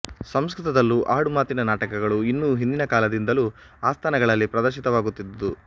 ಸಂಸ್ಕೃತದಲ್ಲೂ ಆಡುಮಾತಿನ ನಾಟಕಗಳು ಇನ್ನೂ ಹಿಂದಿನ ಕಾಲದಿಂದಲೂ ಆಸ್ಥಾನಗಳಲ್ಲಿ ಪ್ರದರ್ಶಿತವಾಗುತ್ತಿದ್ದುವು